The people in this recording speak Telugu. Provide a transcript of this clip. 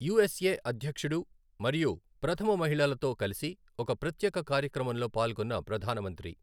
యుఎస్ఎ అధ్యక్షుడు మరియు ప్రథమ మహిళలతో కలసి ఒక ప్రత్యేక కార్యక్రమంలో పాల్గొన్న ప్రధానమంత్రి